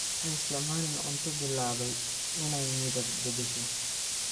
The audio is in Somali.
Ha isticmaalin cunto bilaabay inay midab beddesho.